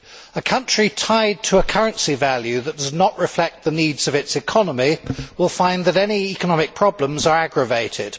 A country tied to a currency value that does not reflect the needs of its economy will find that any economic problems are aggravated.